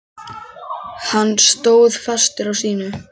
Hann stóð fastur á sínu.